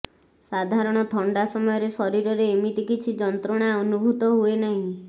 ସାଧାରଣ ଥଣ୍ଡା ସମୟରେ ଶରୀରେ ଏମିତି କିଛି ଯନ୍ତ୍ରଣା ଅନୁଭୂତ ହୁଏନାହିଁ